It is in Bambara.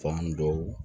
Fan dɔw